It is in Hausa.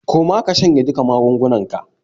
Koma ka shanye duka magungunnanka.